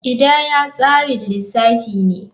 Kidaya tsarin lissafi ne.